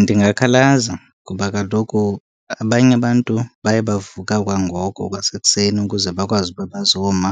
Ndingakhalaza kuba kaloku abanye abantu baye bavuka kwangoko kwasekuseni ukuze bakwazi uba bazoma